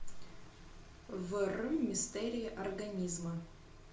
в р мистерии организма